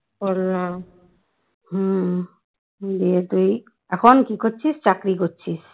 এখন কি করছিস চাকরি করছিস